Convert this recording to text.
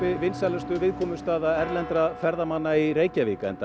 vinsælasti áfangastaður erlendra ferðamanna í Reykjavík enda